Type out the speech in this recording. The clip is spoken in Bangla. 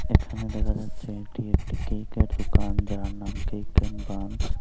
এখানে দেখা যাচ্ছে এটি একটি কেকের দোকান যার নাম কেক এন্ড বানস ।